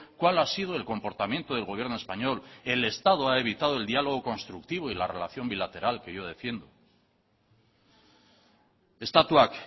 cual ha sido el comportamiento del gobierno español el estado ha evitado el dialogo constructivo y la relación bilateral que yo defiendo estatuak